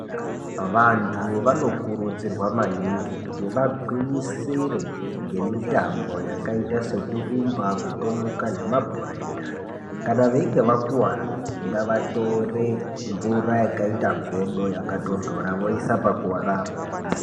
Vantu vano kurudzirwa maningi kuti vagwinyisire nge mitambo yakaita seku rumba kutomuka nema bhora enyara kana veinge vakuvara ngava tore mvura yakaita godo yaka tondora woisa pa kuvarapo.